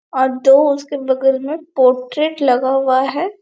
और दो उसके बगल मे पोट्रेट लगा हुआ है।